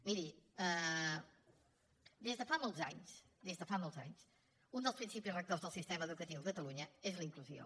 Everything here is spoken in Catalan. miri des de fa molts anys des de fa molts anys un dels principis rectors del sistema educatiu a catalunya és la inclusió